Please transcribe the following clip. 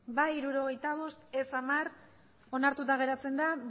bai hirurogeita bost ez hamar onartuta geratzen da